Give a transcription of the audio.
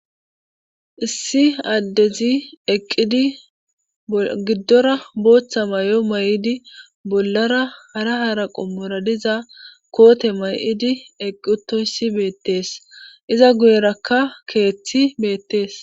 issi addezi eqqidi giddora booththa may7o may7idi bollara hara hara qommora diza koote may7idi eqqiutoyssi beettees iza guyerakka keeththi beettees